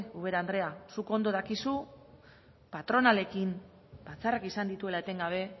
ubera andrea zuk ondo dakizu patronalekin batzarrak izan dituela etengabe